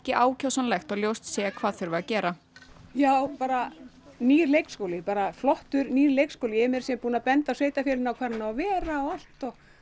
ákjósanlegt og ljóst sé hvað þurfi að gera já bara nýr leikskóli bara flottur nýr leikskóli ég er meira að segja búin að benda sveitarfélaginu á hvar hann á að vera og allt